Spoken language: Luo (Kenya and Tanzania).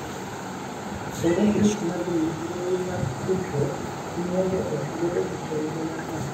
Kendo grup mag mbui mag tudruok miyo jo ot bedo gi chenro mar ng’ato ka ng’ato,